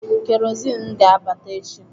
Kerozin m ga-abata echi.